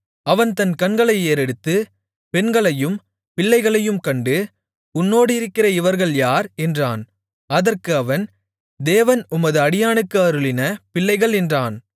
அவன் தன் கண்களை ஏறெடுத்து பெண்களையும் பிள்ளைகளையும் கண்டு உன்னோடிருக்கிற இவர்கள் யார் என்றான் அதற்கு அவன் தேவன் உமது அடியானுக்கு அருளின பிள்ளைகள் என்றான்